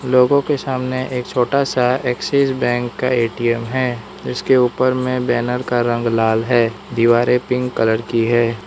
लोगों के सामने एक छोटा सा एक्सिस बैंक का ए_टी_एम है इसके ऊपर मैं बैनर का रंग लाल है दीवारें पिंक कलर की है।